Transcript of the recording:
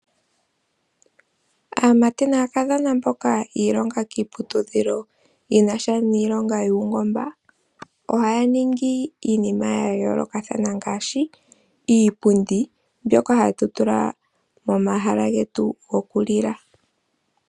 Aamati naakadhona mboka yiilonga kiputudhilo yinasha niilongo yungomba oha ningi iinima yayolokathana ngashi , iipundi mbyoka hatutula momahala getu gokulila,